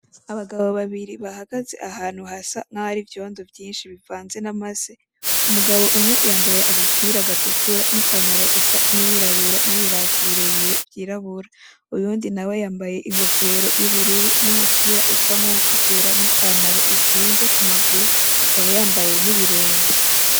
Abagabo babiri bahagaze ahantu hasa n'aho hari ivyondo byinshi bivanze n'amase. Umugabo umwe yambaye agapira gatukura n'ipantaro isa n'iyirabura n'ibirato birebire vyirabura. Uwundi nawe yambaye ingofero y'ubururu n'umupira usa n'utuwutukura n'ipantaro izinze ku maguru akaba yambaye n'ibirenge.